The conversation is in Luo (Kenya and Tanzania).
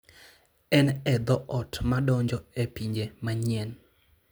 En e dhoot madonjo e pinje manyien.